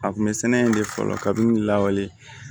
A kun bɛ sɛnɛ in de fɔlɔ ka min lawale